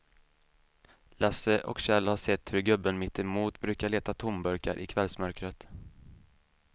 Lasse och Kjell har sett hur gubben mittemot brukar leta tomburkar i kvällsmörkret.